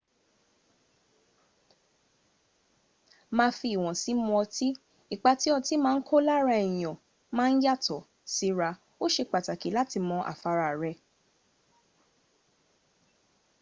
máa fi ìwọ̀nsí mu ọtí ipá tí ọti ma n kó lára èyàn ma n yàtọ̀ síra ó ṣe pàtàkì láti mo àfara rẹ